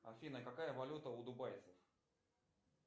афина какая валюта у дубайцев